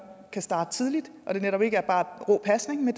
kan starte tidligt og det netop ikke bare er rå pasning men